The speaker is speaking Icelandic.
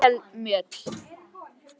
Þú stendur þig vel, Mjöll!